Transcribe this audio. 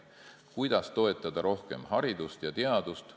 Kuidas toetada rohkem haridust ja teadust?